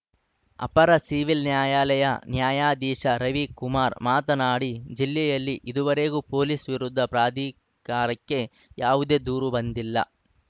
ಅಪರ ಸಿವಿಲ್‌ ನ್ಯಾಯಾಲಯ ನ್ಯಾಯಾಧೀಶ ರವಿ ಕುಮಾರ್‌ ಮಾತನಾಡಿ ಜಿಲ್ಲೆಯಲ್ಲಿ ಇದುವರೆಗೂ ಪೊಲೀಸ್‌ ವಿರುದ್ಧ ಪ್ರಾಧಿ ಕಾರಕ್ಕೆ ಯಾವುದೇ ದೂರು ಬಂದಿಲ್ಲ